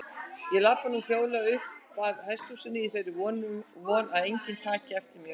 Ég labba nú hljóðlega uppað hesthúsinu í þeirri von að enginn taki eftir mér.